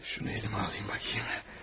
Şunu əlimə alayım baxım.